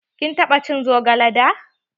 Kin taɓa cin zogale da?